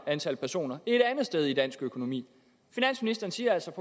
antal personer et andet sted i dansk økonomi finansministeren siger altså at